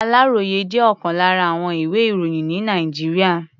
Àláròyé jẹ́ ọ̀kan lára àwọn ìwé-ìròyìn ní Nàìjíríà.